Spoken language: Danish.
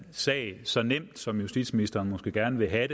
sag så nemt som justitsministeren måske gerne vil have